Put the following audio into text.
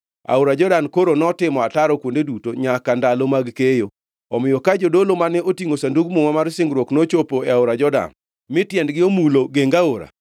Aora Jordan koro notimo ataro kuonde duto nyaka ndalo mag keyo. Omiyo ka jodolo mane otingʼo Sandug Muma mar singruok nochopo e aora Jordan mi tiendegi omulo geng aora,